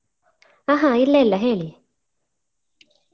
ಅಹ ಇಲ್ಲ ಇಲ್ಲ ಹೇಳಿ.